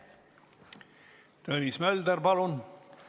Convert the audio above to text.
Tõnis Mölder, palun!